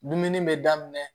Dumuni bɛ daminɛ